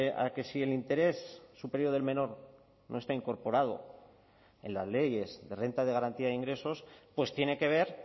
a que si el interés superior del menor no está incorporado en las leyes de renta de garantía de ingresos pues tiene que ver